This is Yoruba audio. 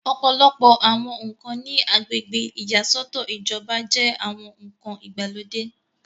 ọ̀pọ̀lọpọ̀ àwọn ǹkan ní agbègbè ìyàsọ́tọ̀ ìjọba jẹ́ àwọn ǹkan ìgbàlódé